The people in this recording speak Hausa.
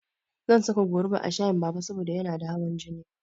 Zan saka goruba a shayin Baba saboda yana da hawan jini.